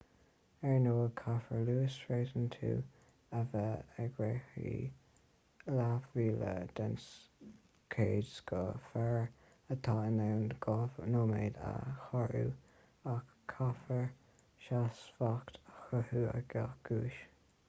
ar ndóigh caithfear luas réasúnta a bheith ag reathaí leathmhíle den chéad scoth fear atá in ann dhá nóiméad a shárú ach caithfear seasmhacht a chothú ag gach guais